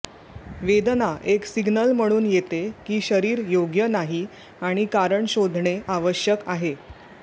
वेदना एक सिग्नल म्हणून येते की शरीर योग्य नाही आणि कारण शोधणे आवश्यक आहे